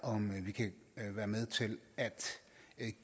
om at vi